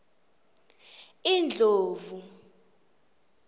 indlovu